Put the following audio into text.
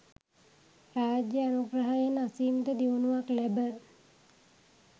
රාජ්‍ය අනුග්‍රහයෙන් අසීමිත දියුණුවක් ලැබ